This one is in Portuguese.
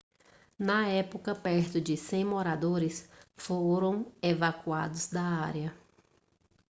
na época perto de 100 moradores foram evacuados da área